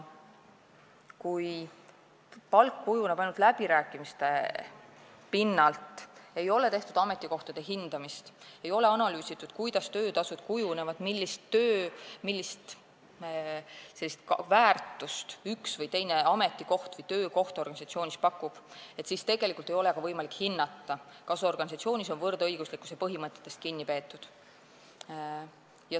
Kui palk kujuneb ainult läbirääkimiste pinnalt – ei ole tehtud ametikohtade hindamist, ei ole analüüsitud, kuidas töötasud kujunevad, millist väärtust üks või teine ametikoht või töökoht organisatsioonis pakub –, siis ei ole ka võimalik hinnata, kas organisatsioonis on võrdõiguslikkuse põhimõtetest kinni peetud.